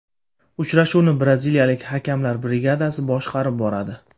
Uchrashuvni braziliyalik hakamlar brigadasi boshqarib boradi.